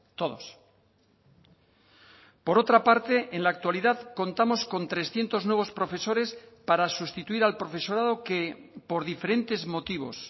todos por otra parte en la actualidad contamos con trescientos nuevos profesores para sustituir al profesorado que por diferentes motivos